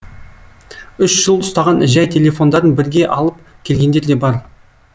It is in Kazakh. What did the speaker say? үш жыл ұстаған жәй телефондарын бірге алып келгендер де бар